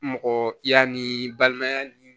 Mɔgɔ kiya ni balimaya ni